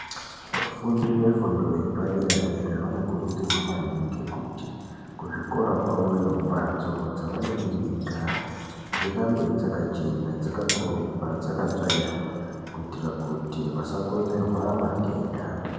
Vafundi vefundo yepadera-dera vanokurudzirwa maningi kuti kuzvikora kwavoyo mbatso dzavanenge veigara dzirambe dzakachena, dzakakorobwa, dzakatsvairwa, kuitira kuti vasakonzerwa matenda.